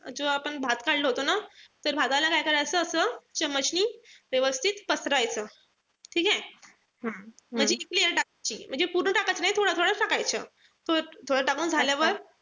जो आपण भात काढला होता ना. तर भाताला काय करायचं असं नि व्यवस्थित पसरवायचा. ठीकेय? म्हणजे ती layer टाकायची. पूर्ण टाकत नाई. थोडंथोडं टाकायचं. तो थोडा टाकून झाल्यावर